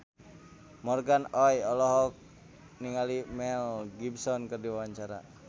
Morgan Oey olohok ningali Mel Gibson keur diwawancara